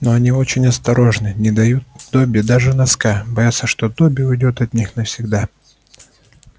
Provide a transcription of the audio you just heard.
но они очень осторожны не дают добби даже носка боятся что добби уйдёт от них навсегда